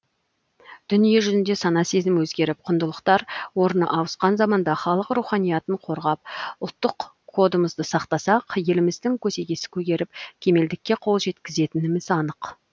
дүние жүзінде сана сезім өзгеріп құндылықтар орны ауысқан заманда халық руханиятын қорғап ұлттық кодымызды сақтасақ еліміздің көсегесі көгеріп кемелдікке қол жеткізетініміз анық